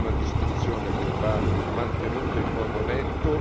È una distinzione che va mantenuta in modo netto.